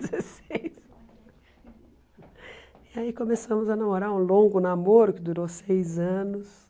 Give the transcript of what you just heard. dezesseis. E aí começamos a namorar, um longo namoro que durou seis anos.